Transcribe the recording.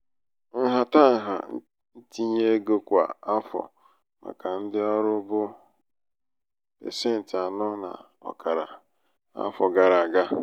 nhatanha ntinye ego kwa afọ màkà ndị ọrụ bụ pasenti anọ na ọkara um n'afọ gara aga.